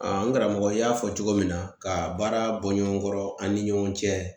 A n karamɔgɔ y'a fɔ cogo min na, ka baara bɔ ɲɔgɔn kɔrɔ an ni ɲɔgɔn cɛ .